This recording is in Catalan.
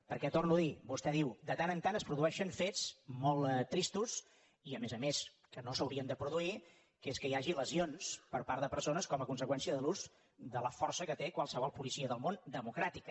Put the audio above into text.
perquè ho torno a dir vostè diu de tant en tant es produeixen fets molt tristos i a més a més que no s’haurien de produir que és que hi hagi lesions per part de persones com a conseqüència de l’ús de la força que té qualsevol policia del món democràtica